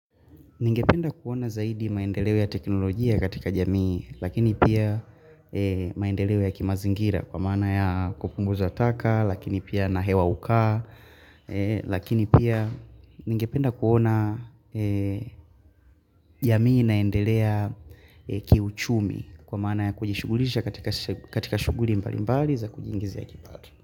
Ningependa kuona zaidi maendeleo ya teknolojia katika jamii, lakini pia maendeleo ya kimazingira kwa maana ya kupunguza taka, lakini pia na hewa hukaa lakini pia ningependa kuona jamii naendelea kiuchumi kwa mana ya kujishugulisha katika shuguli mbali mbali za kujingizia kipato.